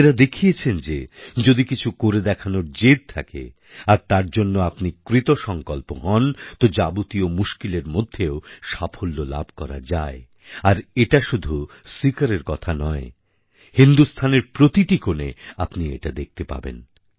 এঁরা দেখিয়েছেন যে যদি কিছু করে দেখানোর জেদ থাকে আর তার জন্য আপনি কৃতসঙ্কল্প হন তো যাবতীয় মুশকিলের মধ্যেও সাফল্য লাভ করা যায় আর এটা শুধু সীকরের কথা নয় হিন্দুস্থানের প্রতিটি কোণে আপনি এটা দেখতে পাবেন